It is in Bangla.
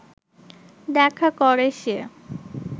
দেখা করে সে